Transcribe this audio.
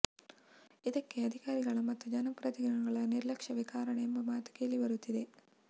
ಇದಕ್ಕೆ ಅಧಿಕಾರಿಗಳ ಮತ್ತು ಜನಪ್ರತಿನಿಧಿಗಳ ನಿರ್ಲಕ್ಷವೇ ಕಾರಣ ಎಂಬ ಮಾತು ಕೇಳಿ ಬರುತ್ತಿದೆ